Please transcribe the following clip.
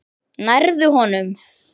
Nærðu honum?